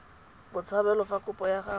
botshabelo fa kopo ya gagwe